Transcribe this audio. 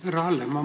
Härra Hallemaa!